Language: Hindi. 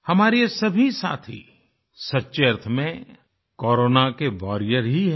हमारे ये सभी साथी सच्चे अर्थ में कोरोना के वारियर ही हैं